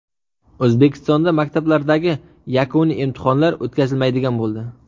O‘zbekistonda maktablardagi yakuniy imtihonlar o‘tkazilmaydigan bo‘ldi.